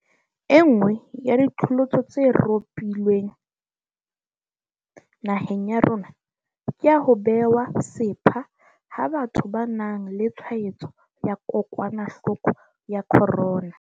Enngwe ya diqholotso tse ropohileng naheng ya rona ke ya ho bewa sepha ha batho ba nang le tshwaetso ya kokwanahloko ya corona.